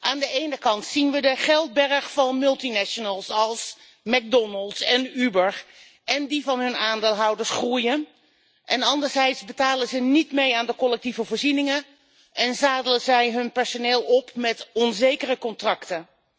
Aan de ene kant zien we de geldberg van multinationals als McDonald's en Uber en die van hun aandeelhouders groeien, en anderzijds betalen ze niet mee aan de collectieve voorzieningen en zadelen zij hun personeel op met onzekere contracten.